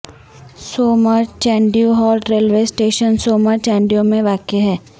سومر Chandio halt railway station Somar Chandio میں واقع ہے